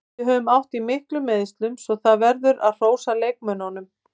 Við höfum átt í miklum meiðslum svo það verður að hrósa leikmönnunum.